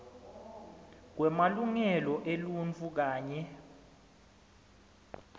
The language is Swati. kwemalungelo eluntfu kanye